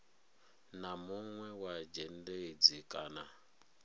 na munwe wa dzhendedzi kana